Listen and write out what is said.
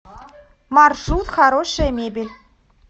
маршрут хорошая мебель